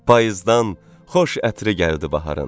Payızdan xoş ətri gəldi baharın.